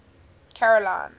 caroline